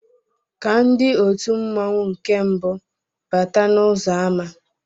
Ka ndị òtù mmanwu nke mbu bátá n'uzọ àmá